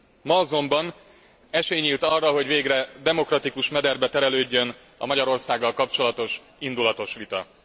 Ma azonban esély nyílt arra, hogy végre demokratikus mederbe terelődjön a Magyarországgal kapcsolatos indulatos vita.